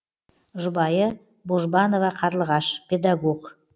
жұбайы божбанова қарлығаш педагог